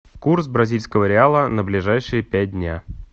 курс бразильского реала на ближайшие пять дня